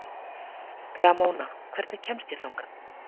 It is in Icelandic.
Ramóna, hvernig kemst ég þangað?